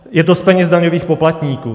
Je to z peněz daňových poplatníků.